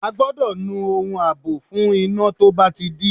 A gbọ́dọ̀ nu ohun àbò fún iná tó bá ti dí.